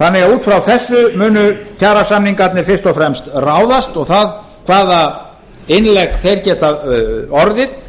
þannig að út frá þessu munu kjarasamningarnir fyrst og fremst ráðast og það hvaða innlegg þeir geta orðið